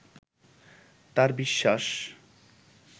তার বিশ্বাস